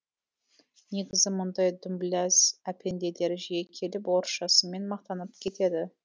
негізі мұндай дүмбіләз әпенделер жиі келіп орысшасымен мақтанып кетеді